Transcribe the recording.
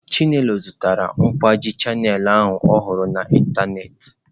Chinelo zụtara kwaaji Channel ahụ ọ hụrụ na ịntanetị.